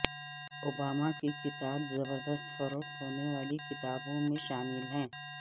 Obama کی کتاب زبردست فروخت ہونے والی کتابوں میں شامل